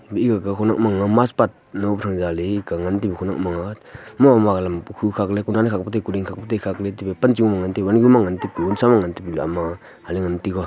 mekgaga khawnek mastpath gangan mamagalam phukhakley kudan khakley kuding khakley pancho ngan ama ngantaga.